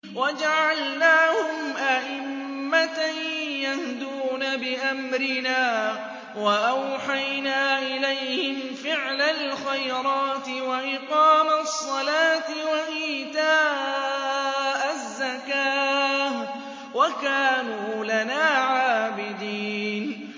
وَجَعَلْنَاهُمْ أَئِمَّةً يَهْدُونَ بِأَمْرِنَا وَأَوْحَيْنَا إِلَيْهِمْ فِعْلَ الْخَيْرَاتِ وَإِقَامَ الصَّلَاةِ وَإِيتَاءَ الزَّكَاةِ ۖ وَكَانُوا لَنَا عَابِدِينَ